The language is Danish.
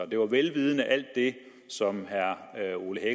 vel vidende alt det som herre ole